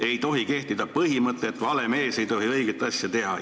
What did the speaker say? Ei tohi kehtida põhimõte, et vale mees ei tohi õiget asja teha.